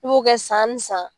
I b'o kɛ san ni san.